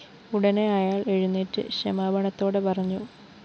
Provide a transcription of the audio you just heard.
ഉടനെ അയാള്‍ എഴുന്നേറ്റ് ക്ഷമാപണത്തോടെ പറഞ്ഞു